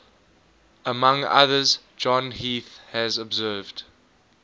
among others john heath has observed